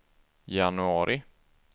januari